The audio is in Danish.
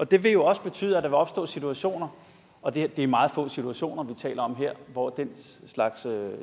det vil jo også betyde at der vil opstå situationer og det er meget få situationer vi taler om her hvor den slags